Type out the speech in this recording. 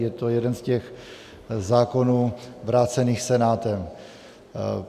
Je to jeden z těch zákonů vrácených Senátem.